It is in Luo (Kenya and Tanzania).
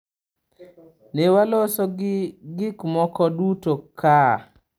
Ne waloso gik moko duto kaa.